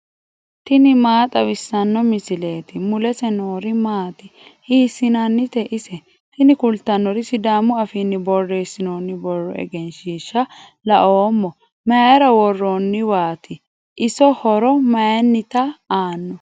tini maa xawissanno misileeti ? mulese noori maati ? hiissinannite ise ? tini kultannori sidaamu afiinni borreessinoonni borro egenshshiishsha la'oommo mayra worronniwaati iso horo maynnita aanno